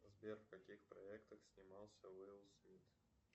сбер в каких проектах снимался уилл смит